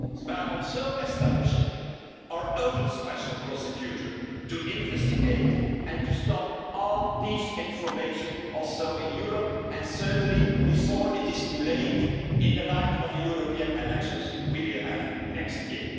as possible by establishing our own special prosecutor to investigate and to stop all disinformation in Europe too and certainly before it is too late in the light of the European elections to be held